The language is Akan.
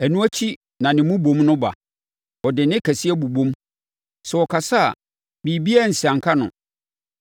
Ɛno akyi na ne mmobom no ba; ɔde nne kɛseɛ bobom. Sɛ ɔkasa a, biribiara nsianka no.